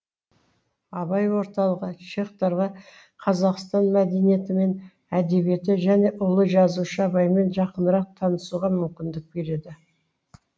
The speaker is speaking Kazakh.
абай орталығы чехтарға қазақстан мәдениеті мен әдебиеті және ұлы жазушы абаймен жақынырақ танысуға мүмкіндік береді